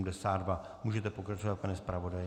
Můžete pokračovat, pane zpravodaji.